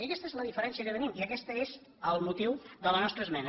i aquesta és la diferència que tenim i aquest és el motiu de la nostra esmena